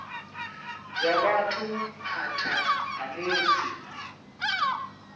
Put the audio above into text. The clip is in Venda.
zwa vhathu phanḓa ha musi